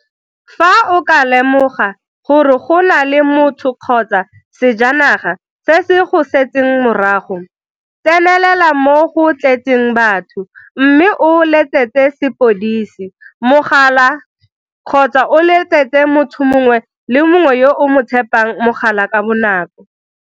Fa o ka lemoga gore go na le motho kgotsa sejanaga se se go setseng morago, tsenelela mo go tletseng batho mme o letsetse sepodisi mogala kgotsa o letsetse motho mongwe le mongwe yo o mo tshepang mogala ka bonako.